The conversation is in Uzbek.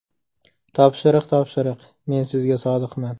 Topshiriq topshiriq, men sizga sodiqman.